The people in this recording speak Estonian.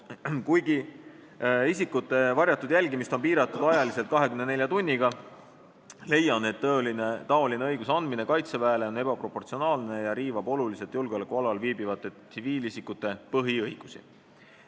Kuigi isikute varjatud jälgimist on piiratud ajaliselt 24 tunniga .., leian, et taoline õiguse andmine Kaitseväele on ebaproportsionaalne ja riivab oluliselt julgeolekualal viibivate tsiviilisikute põhiõigusi.